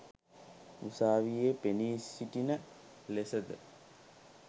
උසාවියේ පෙනී සිටින ලෙසද